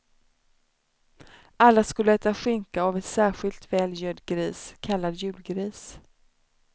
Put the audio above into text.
Alla skulle äta skinka av en särskilt väl gödd gris, kallad julgris.